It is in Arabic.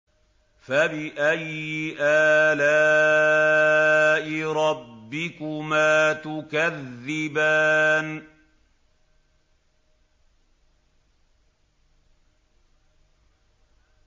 فَبِأَيِّ آلَاءِ رَبِّكُمَا تُكَذِّبَانِ